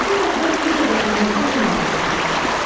Bütün ətraf yenə də ağımtıl dumanla döşənmişdi.